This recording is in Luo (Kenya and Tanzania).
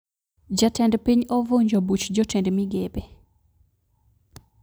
Jatend piny ovunjo buch jotend migepe